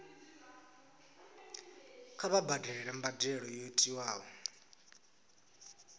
kha vha badele mbadelo yo tiwaho